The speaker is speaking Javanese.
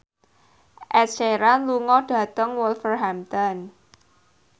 Ed Sheeran lunga dhateng Wolverhampton